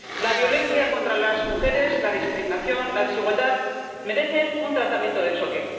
La violencia contra las mujeres, la discriminación, la desigualdad merecen un tratamiento de choque.